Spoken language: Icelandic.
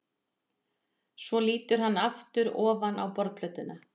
Svo lítur hann aftur ofan í borðplötuna.